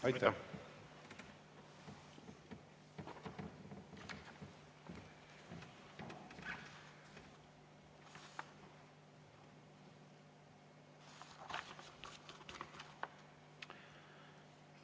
Aitäh!